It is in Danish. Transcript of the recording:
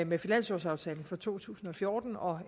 med finanslovsaftalen for to tusind og fjorten og